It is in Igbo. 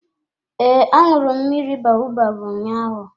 Ee, aṅụru m mmiri baobab ụnyaahụ.